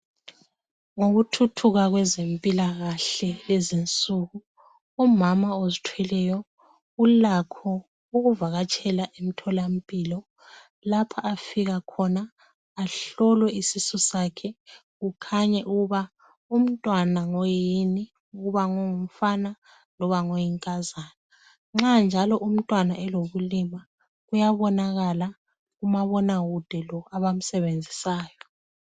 ngokuthuthuka kwezempilakahle lezi insuku umama ozithweleyo ulakho ukuvakatshela emtholampilo lapha afika khona ahlolwe isisu sakhe kukhanye ukuba umntwana ngoyini ukuba ngongumfana loba ngoyinkazana nxa njalo umntwana elobulima uyabonakala kumabonakude lo abamsebenzisayo